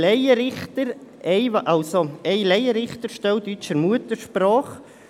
Hier geht es um eine Laienrichterstelle deutscher Muttersprache.